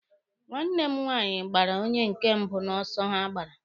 Nwanne m nwaanyị gbara onye nke mbụ n'ọsọ ha gbara.